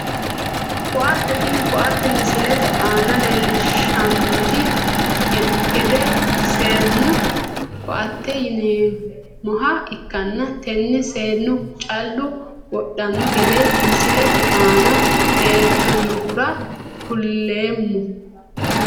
Ko`ate tene koate misilete aana leelishanonte gedde seenu koate yineemoha ikanna tene seenu callu wodhano gede misilete aana leeltanohura kuleemo.